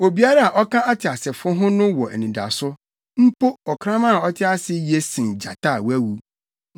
Obiara a ɔka ateasefo ho no wɔ anidaso, mpo ɔkraman a ɔte ase ye sen gyata a wawu.